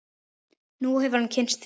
Nú hefur hann kynnst því.